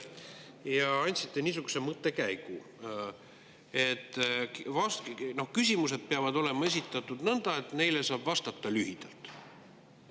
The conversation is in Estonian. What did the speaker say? Te andsite niisuguse mõttekäigu, et küsimused peavad olema esitatud nõnda, et neile saaks vastata lühidalt.